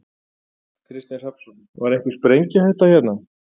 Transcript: Kristinn Hrafnsson: Var einhvern sprengihætta hérna?